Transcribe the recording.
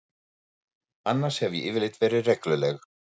Annars hef ég yfirleitt verið regluleg.